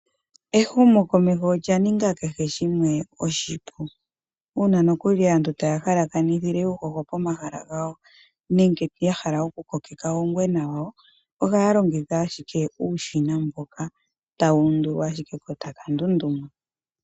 Ehumokomeho olya ninga kehe shimwe oshipu. Uuna nokuli aantu taya halakanithile uuhoho pomahala gawo nenge ya hala okukokeka uungwena pomahala gawo ohaya longitha uushina mboka hawu undulwa ashike ko ta ka ndunduma.